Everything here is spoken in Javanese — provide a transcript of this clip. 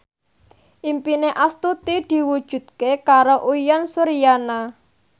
impine Astuti diwujudke karo Uyan Suryana